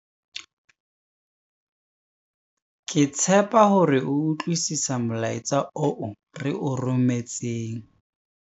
Ke tshepa hore o utlwisisa molaetsa oo re o rometseng.